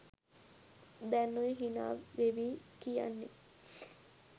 දැන් ඔය හිනා වෙවී කියන්නෙ